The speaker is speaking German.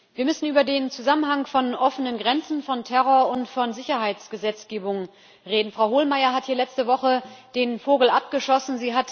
Wir müssen über den Zusammenhang von offenen Grenzen, Terror und Sicherheitsgesetzgebung reden. Frau Hohlmeier hat hier letzte Woche den Vogel abgeschossen.